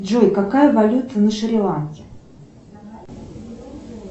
джой какая валюта на шри ланке